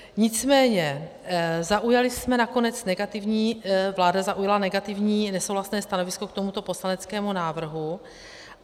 Nicméně zaujali jsme nakonec negativní, vláda zaujala negativní, nesouhlasné stanovisko k tomuto poslaneckému návrhu.